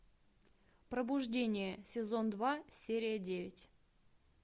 пробуждение сезон два серия девять